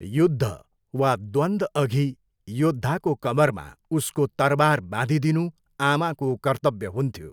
युद्ध वा द्वन्दअघि योद्धाको कम्मरमा उसको तरबार बाँधिदिनु आमाको कर्तव्य हुन्थ्यो।